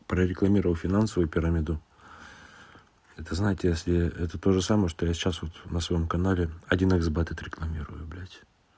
прорекламировав финансовую пирамиду это знаете если это тоже самое что я сейчас вот на своём канале один иксбет отрекламирую блядь